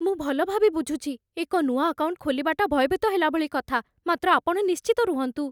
ମୁଁ ଭଲଭାବେ ବୁଝୁଛି। ଏକ ନୂଆ ଆକାଉଣ୍ଟ ଖୋଲିବାଟା ଭୟଭୀତ ହେଲା ଭଳି କଥା, ମାତ୍ର ଆପଣ ନିଶ୍ଚିନ୍ତ ରୁହନ୍ତୁ।